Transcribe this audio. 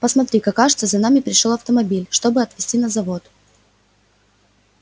посмотри-ка кажется за нами пришёл автомобиль чтобы отвезти на завод